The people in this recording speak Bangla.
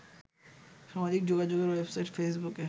সামাজিক যোগাযোগের ওয়েবসাইট ফেসবুকে